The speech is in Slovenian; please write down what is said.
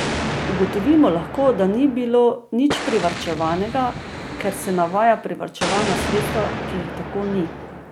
Ugotovimo lahko, da ni bilo nič privarčevanega, ker se navaja privarčevana sredstva, ki jih tako ni.